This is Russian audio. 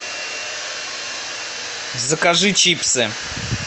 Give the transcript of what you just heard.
закажи чипсы